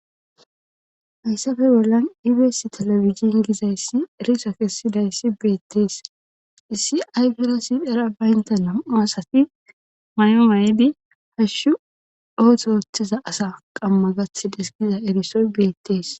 Hayssafe bollan ibees telefizin gizayssi eriso kessidayssi beettees issi ayfirasi era baynta nam'a asati may'o waayidi hashshu ooto otheza asa qamma gath deskiza erisoy beettees